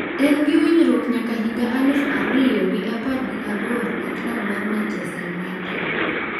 En gi winjruok nyaka higa aluf ariyo gi apar gi aboro e klab mar Manchester United.